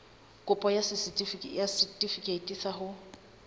kopo ya setefikeiti sa ho